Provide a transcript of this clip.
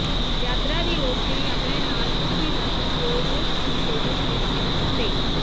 ਯਾਤਰਾ ਦੀ ਰੋਸ਼ਨੀ ਆਪਣੇ ਨਾਲ ਕੁਝ ਵੀ ਨਾ ਚੁੱਕੋ ਜੋ ਤੁਸੀਂ ਫੋਟੋਆਂ ਵਿਚ ਨਹੀਂ ਚਾਹੁੰਦੇ